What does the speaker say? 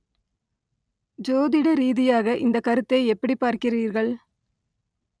ஜோதிட ரீதியாக இந்தக் கருத்தை எப்படிப் பார்க்கிறீர்கள்